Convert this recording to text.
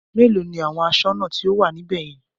Mélòó ni àwọn aṣọ́nà tí ó wà níbè yẹn?